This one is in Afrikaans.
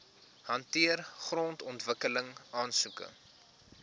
hanteer grondontwikkeling aansoeke